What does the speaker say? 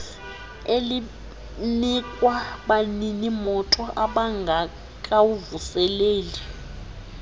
elinikwa baninimoto ababngekawavuseleli